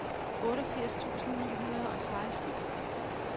otteogfirs tusind ni hundrede og seksten